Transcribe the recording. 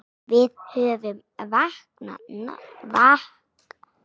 Við höfum vakað nóg.